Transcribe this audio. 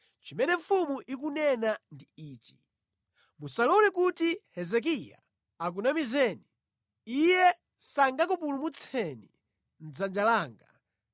Zimene mfumu ikunena ndi izi: ‘Musalole kuti Hezekiya akunamizeni. Iye sangakupulumutseni mʼdzanja langa.